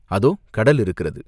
"அதோ கடல் இருக்கிறது!